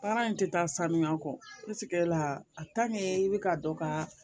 Baara in tɛ taa sanuya kɔ i bɛ ka dɔ ka